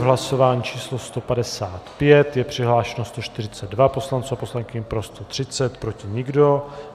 V hlasování číslo 155 je přihlášeno 142 poslanců a poslankyň, pro 130, proti nikdo.